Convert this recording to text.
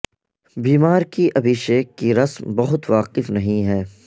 بیمار کی ابھیشیک کی رسم بہت واقف نہیں ہے